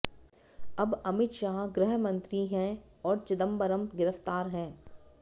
अब अमित शाह गृह मंत्री हैं और चिदंबरम गिरफ़्तार हैं